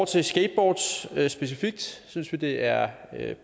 til skateboards specifikt synes vi også det er